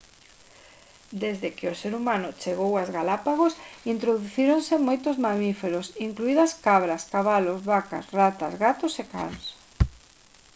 desde que o ser humano chegou ás galápagos introducíronse moitos mamíferos incluídas cabras cabalos vacas ratas gatos e cans